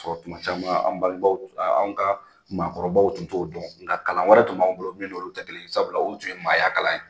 Sɔrɔ tuma caman an ka maakɔrɔbaw tun t'o dɔn nga kalan wɛrɛ tun b'aw bolo min olu tɛ kelen sabula olu tun ye maaya kala ye.